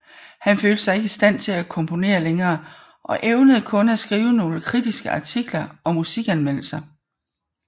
Han følte sig ikke i stand til at komponere længere og evnede kun at skrive nogle kritiske artikler og musikanmeldelser